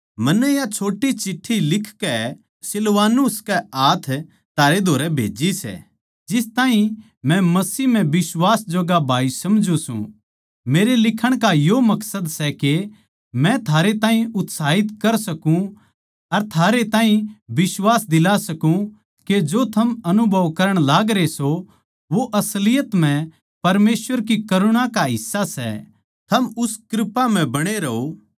मन्नै या छोट्टी चिट्ठी लिखकै सिलवानुस के हाथ थारे धोरै भेजी सै जिस ताहीं मै मसीह म्ह बिश्वास जोग्गा भाई समझूँ सूं मेरे लिखण का यो मकसद सै के मै थारै ताहीं उत्साहित कर सूं अर थारे ताहीं बिश्वास दिला सकूं के जो थम अनुभव करण लागरे सों वो असलियत म्ह परमेसवर की करुणा का हिस्सा सै थम उस कृपा म्ह बणे रहों